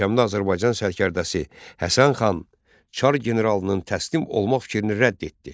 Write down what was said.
Görkəmli Azərbaycan sərkərdəsi Həsən xan Çar generalının təslim olma fikrini rədd etdi.